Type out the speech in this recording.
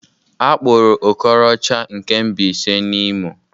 Akpụrụ Okorocha nke Mbaise na Imo